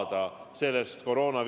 Kindlasti me saame sellest võitu!